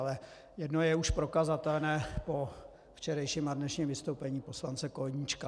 Ale jedno je už prokazatelné po včerejším a dnešním vystoupení poslance Koníčka.